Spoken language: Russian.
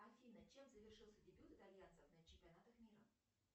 афина чем завершился дебют итальянцев на чемпионатах мира